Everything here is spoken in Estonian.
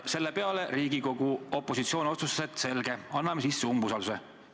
Selle peale Riigikogu opositsioon otsustas, et selge, anname sisse umbusaldusavalduse.